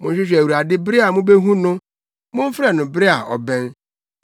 Monhwehwɛ Awurade bere a mubehu no. Momfrɛ no bere a ɔbɛn.